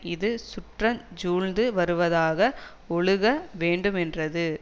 இது சுற்றஞ் சூழ்ந்து வருவதாக ஒழுக வேண்டுமென்றது